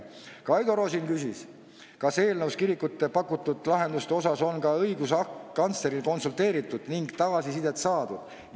Kaido Rosin küsis, kas eelnõus kirikutele pakutud lahenduste asjus on ka õiguskantsleriga konsulteeritud ning tagasisidet saadud.